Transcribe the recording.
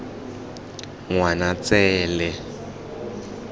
ngwanatsele